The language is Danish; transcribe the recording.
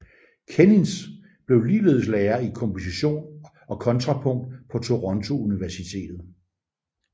Kenins blev ligeledes lærer i komposition og kontrapunkt på Toronto Universitet